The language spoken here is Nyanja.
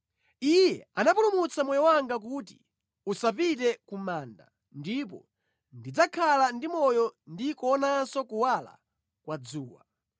Iye anapulumutsa moyo wanga kuti usapite ku manda, ndipo ndidzakhala ndi moyo ndi kuonanso kuwala kwa dzuwa.’